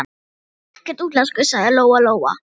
Þá er hann ekkert útlenskur, sagði Lóa Lóa.